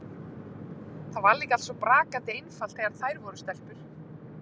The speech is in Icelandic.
Það var líka allt svo brakandi einfalt þegar þær voru stelpur.